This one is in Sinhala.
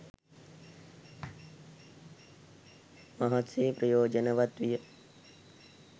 මහත්සේ ප්‍රයෝජනවත් විය.